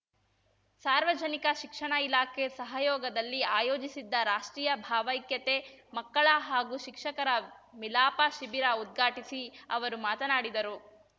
ಸಾರ್ವಜನಿಕ ಶಿಕ್ಷಣ ಇಲಾಖೆ ಸಹಯೋಗದಲ್ಲಿ ಆಯೋಜಿಸಿದ್ದ ರಾಷ್ಟ್ರೀಯ ಭಾವೈಕ್ಯತೆ ಮಕ್ಕಳ ಹಾಗೂ ಶಿಕ್ಷಕರ ಮಿಲಾಪ ಶಿಬಿರ ಉದ್ಘಾಟಿಸಿ ಅವರು ಮಾತನಾಡಿದರು